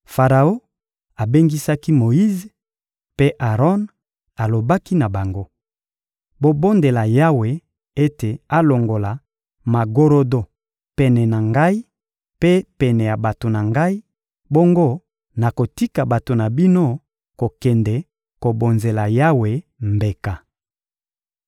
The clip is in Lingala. Faraon abengisaki Moyize mpe Aron, alobaki na bango: — Bobondela Yawe ete alongola magorodo pene na ngai mpe pene ya bato na ngai; bongo nakotika bato na bino kokende kobonzela Yawe mbeka.